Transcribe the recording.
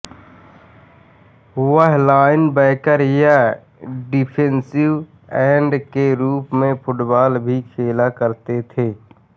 वह लाइनबैकर या defensive end के रूप में फुटबॉल भी खेला करते थे